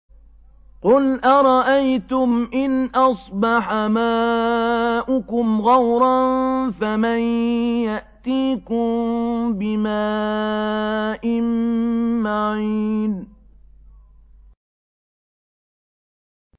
قُلْ أَرَأَيْتُمْ إِنْ أَصْبَحَ مَاؤُكُمْ غَوْرًا فَمَن يَأْتِيكُم بِمَاءٍ مَّعِينٍ